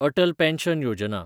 Atal pension Yojana